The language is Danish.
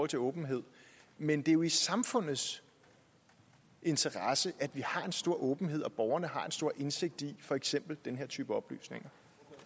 til åbenhed men det er jo i samfundets interesse at vi har en stor åbenhed og at borgerne har en stor indsigt i for eksempel den her type oplysninger